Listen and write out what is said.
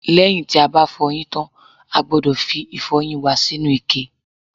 lẹ́yìn tí a bá fọyín tán, a gbọ́dọ̀ fi ìfọyín wa sínú ike